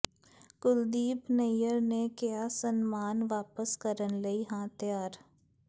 ਕੁਲਦੀਪ ਨਈਅਰ ਨੇ ਕਿਹਾ ਸਨਮਾਨ ਵਾਪਸ ਕਰਨ ਲਈ ਹਾਂ ਤਿਆਰ